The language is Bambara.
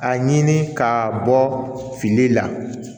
A ɲini ka bɔ fili la